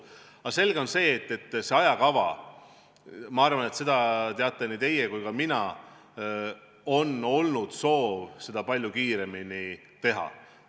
Aga selge on see, et ajakava osas – ma arvan, et seda teate nii teie kui ka mina – on olnud soov palju kiiremini edasi liikuda.